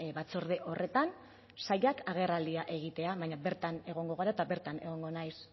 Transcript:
batzorde horretan sailak agerraldia egitea baina bertan egongo gara eta bertan egongo naiz